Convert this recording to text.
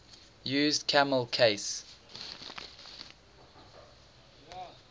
used camel case